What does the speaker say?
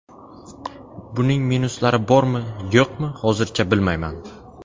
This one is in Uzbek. Buning minuslari bormi-yo‘qmi, hozircha bilmayman.